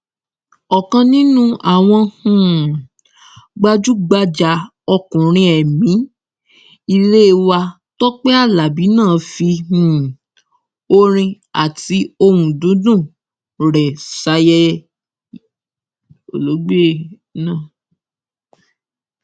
ọkan nínú àwọn um gbajúgbajà ọkùnrin ẹmí ilé wa tọpẹ aláabi náà fi um orin àti ohùn dídùn rẹ ṣàyẹsí olóògbé náà